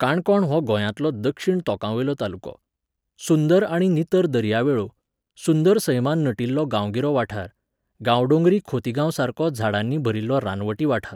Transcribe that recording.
काणकोण हो गोंयांतलो दक्षिण तोंकावयलो तालुको. सुंदर आनी नितळ दर्या वेळो, सुंदर सैमान नटिल्लो गांवगिरो वाठार, गांवडोंगरी खोतिगांवासारको झाडांनी भरिल्लो रानवटी वाठार